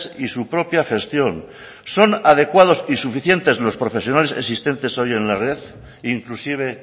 y su propia gestión son adecuados y suficientes los profesionales existentes hoy en la red inclusive